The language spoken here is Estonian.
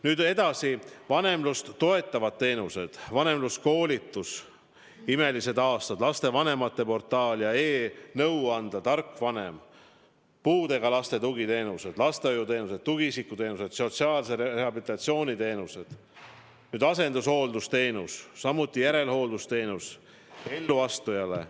Nüüd edasi, vanemlust toetavad teenused: vanemluskoolitus "Imelised aastad", lastevanemate portaal ja e-nõuandla Tarkvanem, puudega laste tugiteenused, lastehoiuteenus, tugiisiku teenused, sotsiaalse rehabilitatsiooni teenused, asendushooldusteenus, samuti järelhooldusteenus elluastujaile.